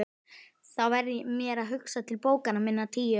Þá varð mér hugsað til bókanna minna tíu.